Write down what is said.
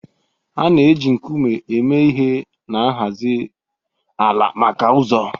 A na-eji nkume eme ihe na nhazi ala maka ụzọ